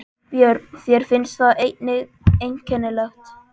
Björn: Þér finnst það einnig einkennilegt?